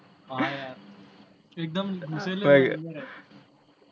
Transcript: હા યાર, એકદમ